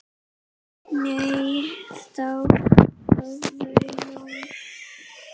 Nei, þá hafði Jón